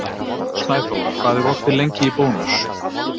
Snæþór, hvað er opið lengi í Bónus?